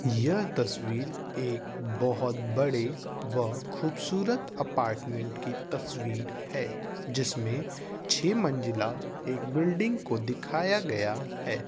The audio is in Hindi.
यह तस्वीर एक बहुत बड़े व खूबसूरत अपार्टमेंट की तसवीर है जिसमें छे मंजिला एक बिल्डिंग को दिखाया गया है।